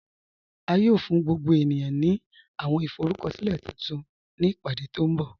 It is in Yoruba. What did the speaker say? À yóò fún gbogbo ènìyàn ní àwọn ìforúkọ̀silẹ̀ tuntun ni ìpádé tí nbọ̀.